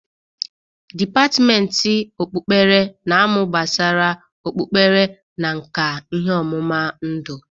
Depatmenti okpukpere na-amụ gbasara okpukpere na nka ihe ọmụma ndụ.